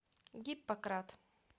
гиппократ